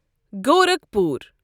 Gorakhpur